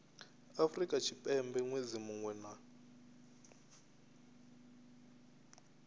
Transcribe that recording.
afrika tshipembe ṅwedzi muṅwe na